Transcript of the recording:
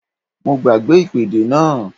Mo gbàgbé ìpèdè náà